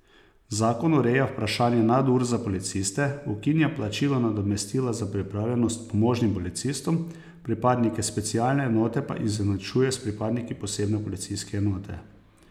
Zakon ureja vprašanje nadur za policiste, ukinja plačilo nadomestila za pripravljenost pomožnim policistom, pripadnike specialne enote pa izenačuje s pripadniki posebne policijske enote.